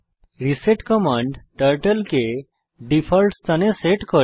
reset command turtle কে default স্থানে set করে